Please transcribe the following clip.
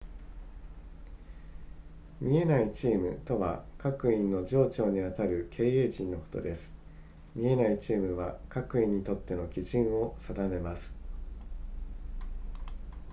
見えないチームとは各員の上長にあたる経営陣のことです見えないチームは各員にとっての基準を定めます